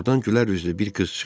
Ordan gülər üzlü bir qız çıxdı.